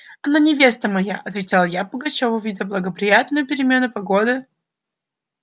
она невеста моя отвечал я пугачёву видя благоприятную перемену погоды